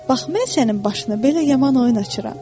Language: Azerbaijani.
Bax, mən sənin başına belə yaman oyun açıram.